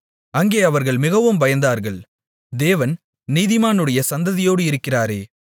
அங்கே அவர்கள் மிகவும் பயந்தார்கள் தேவன் நீதிமானுடைய சந்ததியோடு இருக்கிறாரே